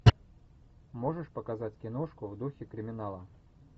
можешь показать киношку в духе криминала